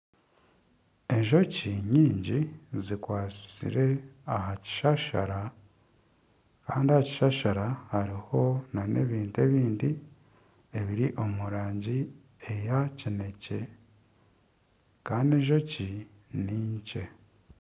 Enjoki nyingi zikwatsire aha kishashara Kandi aha kishashara hariho n'ebintu ebindi ebiri omu rangi eya kinekye Kandi enjoki ninkye.